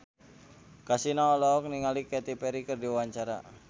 Kasino olohok ningali Katy Perry keur diwawancara